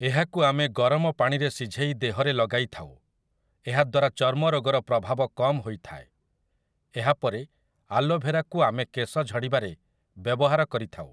ଏହାକୁ ଆମେ ଗରମ ପାଣିରେ ଶିଝେଇ ଦେହରେ ଲଗାଇଥାଉ, ଏହାଦ୍ୱାରା ଚର୍ମ ରୋଗର ପ୍ରଭାବ କମ ହୋଇଥାଏ । ଏହାପରେ ଆଲୋଭେରାକୁ ଆମେ କେଶ ଝଡ଼ିବାରେ ବ୍ୟବହାର କରିଥାଉ ।